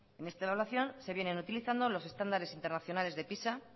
en esta evaluación se vienen utilizando los estándares internacionales de pisa